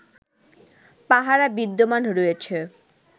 পাহারা বিদ্যমান রয়েছে